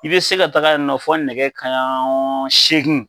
I bɛ se ka taga yen nɔ fo nɛgɛ kanɲɛ segin